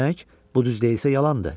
Demək, bu düz deyilsə yalandır.